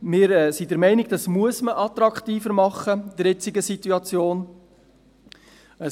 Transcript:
Wir sind der Meinung, das müsse man in der jetzigen Situation attraktiver machen.